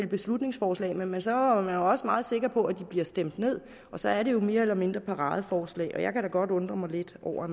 beslutningsforslag men så var man også meget sikker på at de blev stemt ned og så er det jo mere eller mindre paradeforslag jeg kan da måske godt undre mig lidt over at